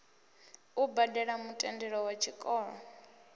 u badele mutendelo wa tshikolo